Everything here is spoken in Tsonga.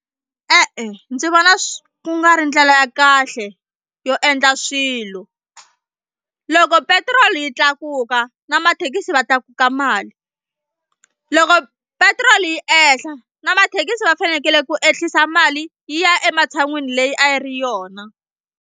E-e ndzi vona swi ku nga ri ndlela ya kahle yo endla swilo loko petiroli yi tlakuka na mathekisi va tlakuka mali loko petiroli yi ehla na mathekisi va fanekele ku ehlisa mali yi ya ematshan'wini leyi a yi ri yona.